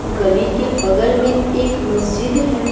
गली के बगल में एक मस्जिद है।